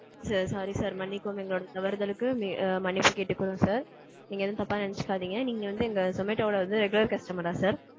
sir sorry sir. மன்னிக்கவும் எங்களோட தவறுதளுக்கு மன்னிப்பு கேட்டுக்குறோம் sir. நீங்க ஏதும் தப்பா நெனைச்சுக்காதீங்க நீங்க வந்து இந்த zomato ஓட வந்து regular customer ரா sir?